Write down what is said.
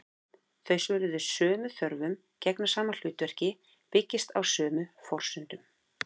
Þau svara sömu þörfum, gegna sama hlutverki, byggjast á sömu forsendum.